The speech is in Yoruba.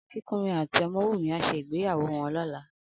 Akinkunmi àtí Omowunmi á ṣé igbéyàwó wòn lòlá